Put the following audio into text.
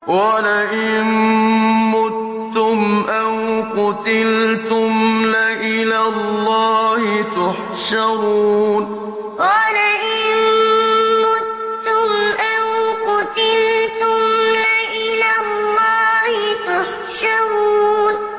وَلَئِن مُّتُّمْ أَوْ قُتِلْتُمْ لَإِلَى اللَّهِ تُحْشَرُونَ وَلَئِن مُّتُّمْ أَوْ قُتِلْتُمْ لَإِلَى اللَّهِ تُحْشَرُونَ